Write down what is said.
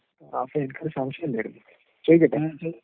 അപ്പൊ എനിക്കൊരു സംശയമുണ്ടായിരുന്നു. ചോദിക്കട്ടേ?